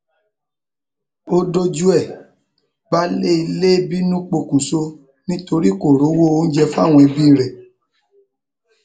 ó dojú ẹ baálé ilé bínú pokùnṣọ nítorí kò rówó oúnjẹ fáwọn ẹbí ẹ